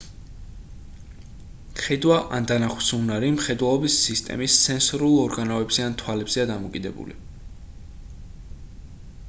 ხედვა ან დანახვის უნარი მხედველობის სისტემის სენსორულ ორგანოებზე ან თვალებზეა დამოკიდებული